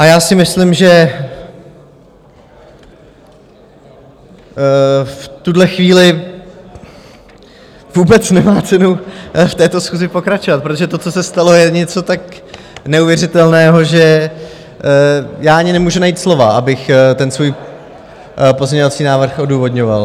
A já si myslím, že v tuhle chvíli vůbec nemá cenu v této schůzi pokračovat, protože to, co se stalo, je něco tak neuvěřitelného, že já ani nemůžu najít slova, abych ten svůj pozměňovací návrh odůvodňoval.